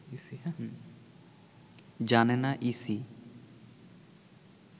জানে না ইসি